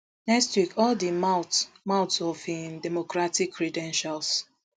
next week all di mouth mouth of im democratic credentials